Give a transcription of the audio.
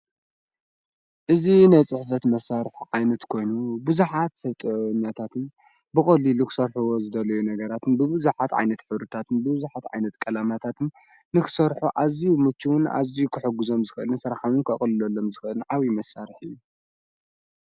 እዝ ናይ ጽሕፈት መሣርሕ ዓይነት ኮይኑ ብዙኃት ሰብጠኛታትን ብቖሊ ልኽሠርሕዎ ዘደለዩ ነገራትን ብብዙኃት ዓይነት ኅብርታትን ብብዙኃት ዓይነት ቀላማታትን ንኽሠርሑ ኣዙይ ሙችውን ኣዙይ ኽሕጕዘም ዝኽልን ሠርኃምን ከቕልሎሎም ዝኽልን ዓዊዪ መሣርሕ እዩ።